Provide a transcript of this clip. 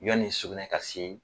Yanni sugunɛ ka se